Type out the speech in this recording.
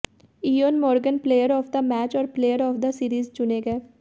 Eoin Morgan player of the match और player of the series चुने गए